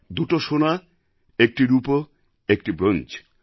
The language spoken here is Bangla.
দুটো সোনা একটি রূপো একটি ব্রোঞ্জ